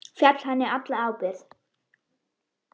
Fel henni alla ábyrgð.